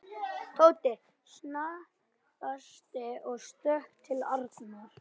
Tóti snarstansaði og stökk til Arnar.